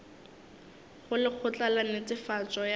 go lekgotla la netefatšo ya